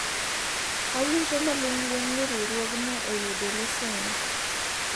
awinjo maling'ling ni riwruogni oyudo lesen